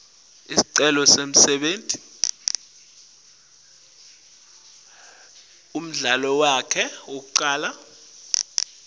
sekukhona ngisho nemidlalo yekushayana